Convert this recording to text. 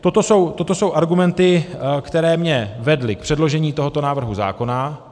Toto jsou argumenty, které mě vedly k předložení tohoto návrhu zákona.